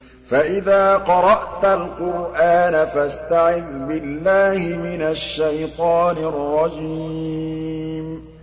فَإِذَا قَرَأْتَ الْقُرْآنَ فَاسْتَعِذْ بِاللَّهِ مِنَ الشَّيْطَانِ الرَّجِيمِ